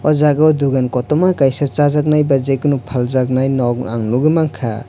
ojaga o dogan kotoma kaisa sajaknai ba jekono paljak nog ang nogoi mangkha.